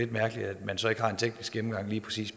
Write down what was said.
mærkeligt at man så ikke har en teknisk gennemgang af lige præcis